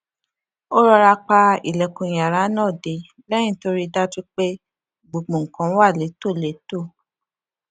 ó rọra pa ilèkùn yàrá náà dé léyìn tó rí i dájú pé gbogbo nǹkan wà létòlétò